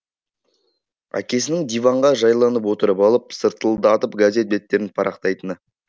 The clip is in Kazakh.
әкесінің диванға жайланып отырып алып сыртылдатып газет беттерін парақтайтыны